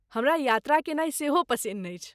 हमरा यात्रा केनाइ सेहो पसिन्न अछि।